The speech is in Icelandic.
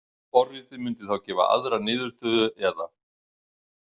Forritið mundi þá gefa aðra niðurstöðu eða.